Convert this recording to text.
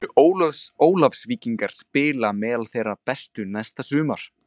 Munu Ólafsvíkingar spila á meðal þeirra bestu næsta sumar?